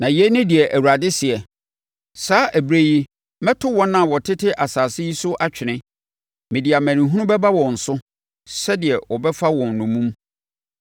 Na yei ne deɛ Awurade seɛ: “Saa ɛberɛ yi mɛto wɔn a wɔtete asase yi so atwene; mede amanehunu bɛba wɔn so sɛdeɛ wɔbɛfa wɔn nnommum.”